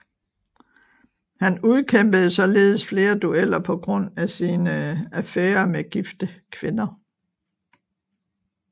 Han udkæmpede således flere dueller på grund af sine affærer med gifte kvinder